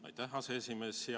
Aitäh, aseesimees!